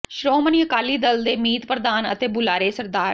ਸ਼੍ਰੋਮਣੀ ਅਕਾਲੀ ਦਲ ਦੇ ਮੀਤ ਪ੍ਰਧਾਨ ਅਤੇ ਬੁਲਾਰੇ ਸ